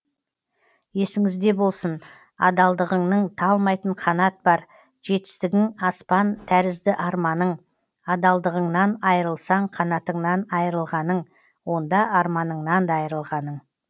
есіңіз де болсын адалдығыңның талмайтын қанат бар жетістігің аспан тәрізді арманың адалдығыңнан айырылсаң қанатыңнан айырылғаның онда арманыңнан да айырылғаның